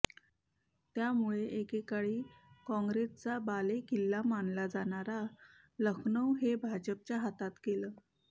त्यामुळे एकेकाळी काँग्रेसचा बालेकिल्ला मानलं जाणारं लखनौ हे भाजपच्या हातात गेलं